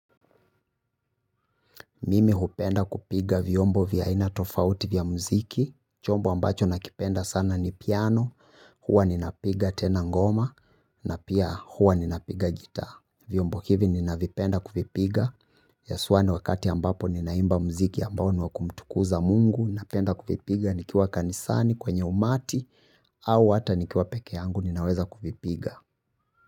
Mimi hupenda kupiga viombo vya aina tofauti vya muziki, chombo ambacho nakipenda sana ni piano, huwa ninapiga tena ngoma, na pia huwa ninapiga gita. Viombo hivi ninavipenda kuvipiga, haswa wakati ambapo ninaimba mziki ambao niwakumtukuza mungu, napenda kuvipiga nikiwa kanisani, kwenye umati, au hata nikiwa peke yangu ninaweza kuvipiga.